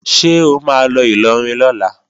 Ṣé o máa lọ Ìlọrin lọ́la?